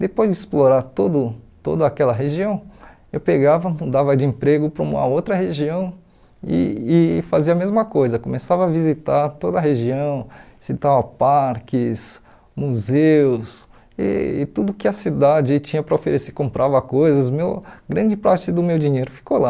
Depois de explorar todo toda aquela região, eu pegava, mudava de emprego para uma outra região e e fazia a mesma coisa, começava a visitar toda a região, visitava parques, museus, e e tudo que a cidade tinha para oferecer, comprava coisas, meu grande parte do meu dinheiro ficou lá.